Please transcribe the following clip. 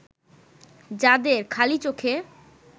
যাদের খালি চোখে